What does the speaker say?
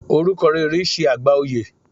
Orúkọ rere ṣe àgbà oyè.